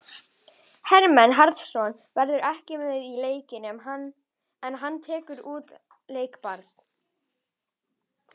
Hermann Hreiðarsson verður ekki með í leiknum en hann tekur út leikbann.